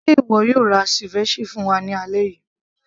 ṣe ìwọ yóò ra ceviche fún wa ní alẹ́ yìí